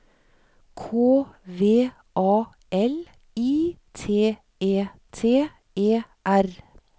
K V A L I T E T E R